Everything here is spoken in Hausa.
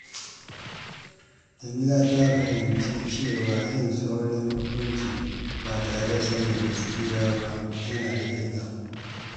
Jamila ta fahimci cewa yin saurin hukunci ba tare da sanin gaskiya ba yana da illa.